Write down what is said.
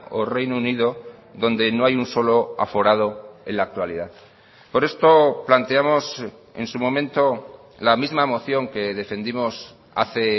o reino unido donde no hay un solo aforado en la actualidad por esto planteamos en su momento la misma moción que defendimos hace